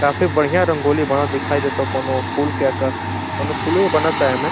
काफी बढ़िया रंगोली बनत दिखाई देता। कोनो फूल के आका कोनो फूलवे बनता एमे।